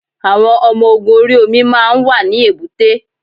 Àwọn ọmọ ogun orí omi máa ń wà ní èbúté.